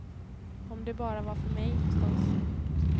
Om det bara var för mig, förstås.